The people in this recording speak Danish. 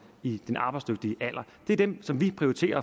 i den arbejdsdygtige alder det er dem som vi prioriterer